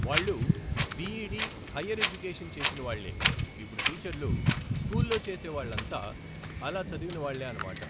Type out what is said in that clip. వాళ్ళు B Ed higher education చేసిన వాళ్ళే, ఇప్పుడు టీచర్లు స్కూల్లో చేసే వాళ్ళంతా అలా చదివినవాళ్ళే అనమాట